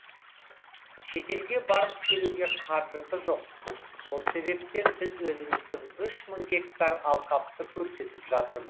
шетелге барып келуге қаржысы жоқ сол себептен біз өзіміздің үш мың гектар алқапты көрсетіп жатырмыз